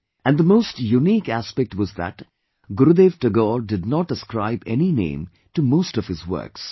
And the most unique aspect was that Gurudev Tagore did not ascribe any name to most of his works